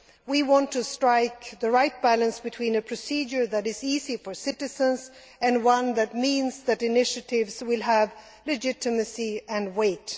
We want to strike the right balance between a procedure that is easy for citizens and one that means that initiatives will have legitimacy and weight.